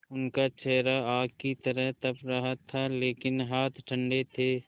उनका चेहरा आग की तरह तप रहा था लेकिन हाथ ठंडे थे